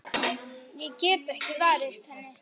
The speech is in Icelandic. Ég get ekki varist henni.